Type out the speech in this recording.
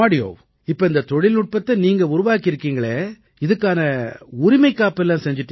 இப்ப இந்தத் தொழில்நுட்பத்தை நீங்க உருவாக்கி இருக்கீங்களே இதுக்கான உரிமைக்காப்பு எல்லாம் செஞ்சுட்டீங்களா